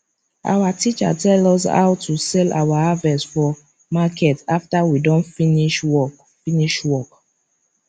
our teacher tell us how to sell our harvest for market after we don finish work finish work